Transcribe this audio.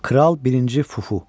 Kral birinci Fufu.